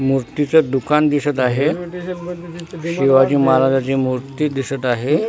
मूर्तीच दुकान दिसत आहे शिवाजी महाराजाची मूर्ती दिसत आहे.